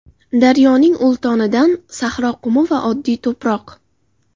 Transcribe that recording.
Daryoning ultonidan, sahro qumi va oddiy to‘proq.